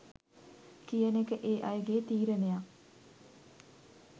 කියන එක ඒ අයගේ තීරණයක්.